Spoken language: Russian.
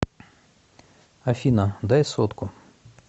афина дай сотку